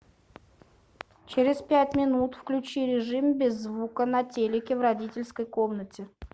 через пять минут включи режим без звука на телике в родительской комнате